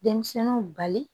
Denmisɛnninw bali